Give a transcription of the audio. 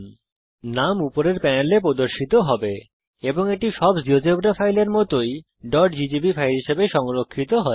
উল্লেখ্য নাম উপরের প্যানেলে প্রদর্শিত হবে এবং এটি সব জীয়োজেব্রা ফাইলের মতই Ggb ফাইল হিসাবে সংরক্ষিত হয়